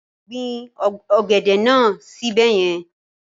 Gbin ọ̀gẹ̀dẹ̀ náà sí ibẹ̀ yẹn.